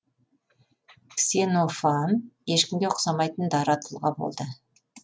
ксенофан ешкімге ұқсамайтын дара тұлға болды